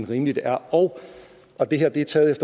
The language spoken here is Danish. rimeligt er og og det her er taget